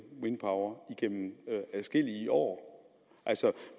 wind power igennem adskillige år altså